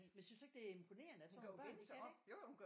Men synes du ikke det er imponerende at sådan nogle børn de kan det